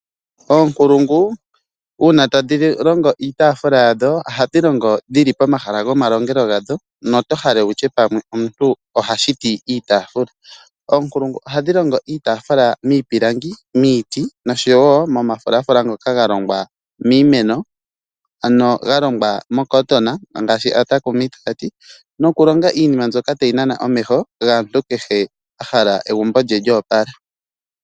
Onkulungu una tadhi longo iitafula yadho ohadhi longo dhili pomahala gomalongelo gadho no to hala wutye pamwe omuntu oha shiti iitafula. Oonkulungu ohadhi longo iitafula miipilangi miiti oshowo mo mafulafula ngoka galongwa miimeno ano ga longwa mo "cotton" ngashi aatakumi taya ti, nokulonga iinima mbyoka tayi nana omeho gaantu kehe ahala egumbo lye lyopala.